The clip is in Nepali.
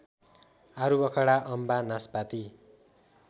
आरुबखडा अम्बा नासपाती